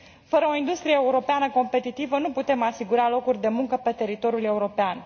Fără o industrie europeană competitivă, nu putem asigura locuri de muncă pe teritoriul european.